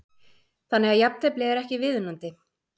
Þannig að jafntefli er ekki viðunandi?